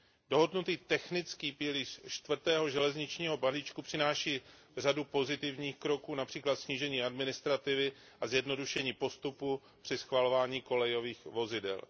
Dohodnutý technický pilíř čtvrtého železničního balíčku přináší řadu pozitivních kroků, například snížení administrativy a zjednodušení postupů při schvalování kolejových vozidel.